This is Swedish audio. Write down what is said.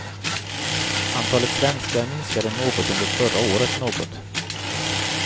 Antalet svenskar minskade något under förra året något.